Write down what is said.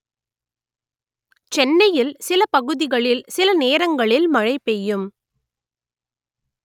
சென்னையில் சில பகுதிகளில் சில நேரங்களில் மழை பெய்யும்